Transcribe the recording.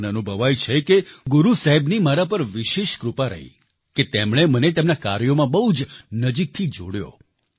મને અનુભવાય છે કે ગુરુ સાહેબની મારા પર વિશેષ કૃપા રહી કે તેમણે મને તેમના કાર્યોમાં બહુ નજીકથી જોડ્યો